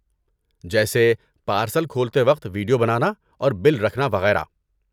جیسے پارسل کھولتے وقت ویڈیو بنانا اور بل رکھنا وغیرہ۔